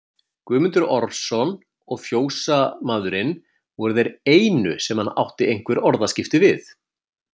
Guðmundur Ormsson og fjósamaðurinn voru þeir einu sem hann átti einhver orðaskipti við.